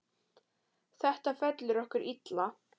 Þetta fellur okkur illa.